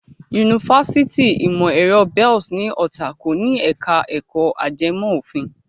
Yunifásitì ìmọ̀ ẹ̀rọ Bells ní Ọ̀tà kò ní ẹ̀ka ẹ̀kọ́ ajẹmọ́ òfin.